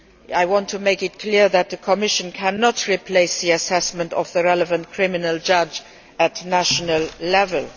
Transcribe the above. I want to make it clear that the Commission cannot replace the assessment of the relevant criminal judge at national level.